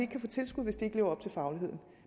kan få tilskud hvis de ikke lever op til fagligheden